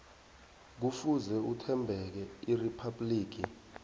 kufuze athembeke eriphabhligi